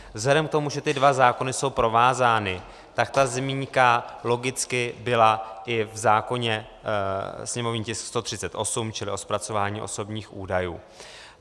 Vzhledem k tomu, že ty dva zákony jsou provázány, tak ta zmínka logicky byla i v zákoně sněmovní tisk 138, čili o zpracování osobních údajů.